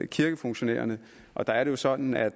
kirkefunktionærerne og der er det jo sådan at